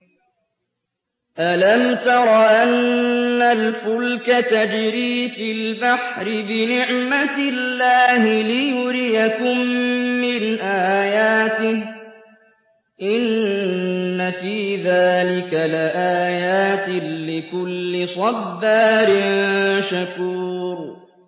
أَلَمْ تَرَ أَنَّ الْفُلْكَ تَجْرِي فِي الْبَحْرِ بِنِعْمَتِ اللَّهِ لِيُرِيَكُم مِّنْ آيَاتِهِ ۚ إِنَّ فِي ذَٰلِكَ لَآيَاتٍ لِّكُلِّ صَبَّارٍ شَكُورٍ